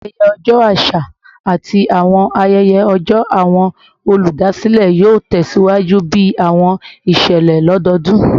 Ayẹyẹ ọjọ aṣa ati awọn ayẹyẹ ọjọ awọn oludasilẹ yoo tẹsiwaju bi awọn iṣẹlẹ lododun